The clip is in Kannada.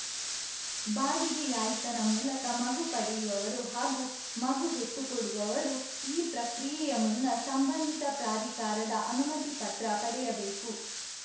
ಬಾಡಿಗೆ ಯಾಯ್ತನ ಮೂಲಕ ಮಗು ಪಡೆಯುವವರು ಹಾಗೂ ಮಗು ಹೆತ್ತು ಕೊಡುವವರು ಈ ಪ್ರಕ್ರಿಯೆಯ ಮುನ್ನ ಸಂಬಂಧಿತ ಪ್ರಾಧಿಕಾರದ ಅನುಮತಿ ಪತ್ರ ಪಡೆಯಬೇಕು